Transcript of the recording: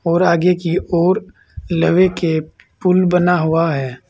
और आगे की ओर लवे के पुल बना हुआ है।